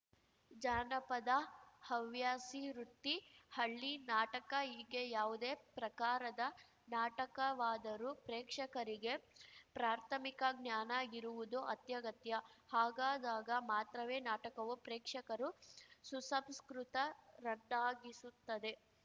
ಜಾನಪದ ಹವ್ಯಾಸಿ ವೃತ್ತಿ ಹಳ್ಳಿ ನಾಟಕ ಹೀಗೆ ಯಾವುದೇ ಪ್ರಕಾರದ ನಾಟಕವಾದರೂ ಪ್ರೇಕ್ಷಕರಿಗೆ ಪ್ರಾಥಮಿಕ ಜ್ಞಾನ ಇರುವುದು ಅತ್ಯಗತ್ಯ ಹಾಗಾದಾಗ ಮಾತ್ರವೇ ನಾಟಕವು ಪ್ರೇಕ್ಷಕರು ಸುಸಂಸ್ಕೃತರನ್ನಾಗಿಸುತ್ತದೆ